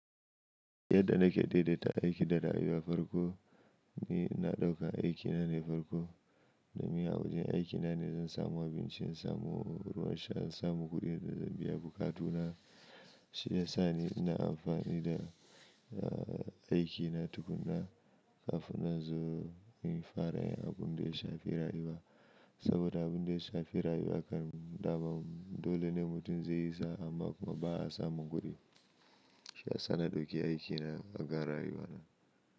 Yadda nake daidaita aiki da rayuwa farko, ni na ɗauka aikina ne farko, domin a wajen aikina ne zan samu abinci, zan samu ruwan sha, zan samu kuɗin da zan biya bukatuna. Shi yasa ni ina amfani da aikina tukuna kafin na zo yin fara abun da ya shafi rayuwa. Saboda abun da ya shafi rayuwa kan da babu. Dole ne mutum zai yi sa, amma kuma ba a samu kuɗi. Shi ya sa na ɗauki aikina akan rayuwana.